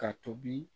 Ka tobi